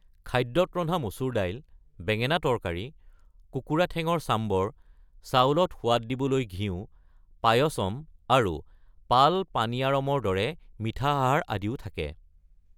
খাদ্যত ৰন্ধা মচুৰ দাইল, বেঙেনা তৰকাৰী, কুকুৰা ঠেঙৰ চাম্বৰ, চাউলত সোৱাদ দিবলৈ ঘিউ, পায়সম আৰু পাল পানীয়াৰমৰ দৰে মিঠা আহাৰ আদিও থাকে।